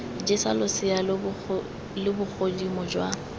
jesa losea lo bogodimo jwa